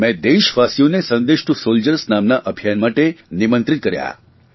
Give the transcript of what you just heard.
મેં દેશવાસીઓને Sandesh to soldiers નામના અભિયાન માટે નિમંત્રિત કર્યા